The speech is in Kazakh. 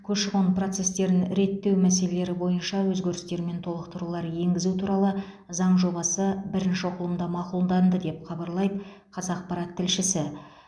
көші қон процестерін реттеу мәселелері бойынша өзгерістер мен толықтырулар енгізу туралы заң жобасы бірінші оқылымда мақұлынданды деп хабарлайды қазақпарат тілшісі